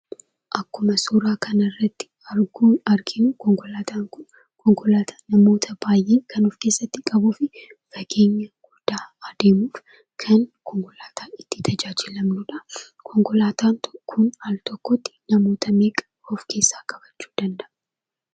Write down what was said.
Akkuma suura kana irratti arginu konkolaataan Kun konkolaataa namoota baay'ee of keessatti qabatuu fi fageenya guddaa adeemuudha. Konkolaataa itti tajaajilamnuudha. Konkolaataa Kun Al tokkotti namoota meeqa of keessatti qabachuu danda'a?